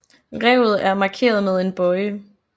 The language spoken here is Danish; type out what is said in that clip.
Revet er markeret med en bøje